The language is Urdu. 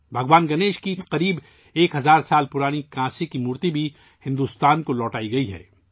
بھگوان گنیش کی تقریباً ایک ہزار سال پرانی کانسے کی مورتی بھی بھارت کو واپس کی گئی ہے